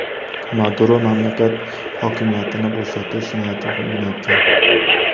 Maduro mamlakat hokimiyatini bo‘shatish niyati yo‘qligini aytgan.